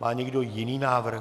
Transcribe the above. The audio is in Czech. Má někdo jiný návrh?